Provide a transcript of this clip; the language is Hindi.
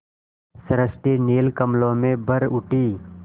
सृष्टि नील कमलों में भर उठी